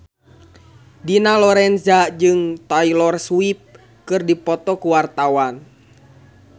Dina Lorenza jeung Taylor Swift keur dipoto ku wartawan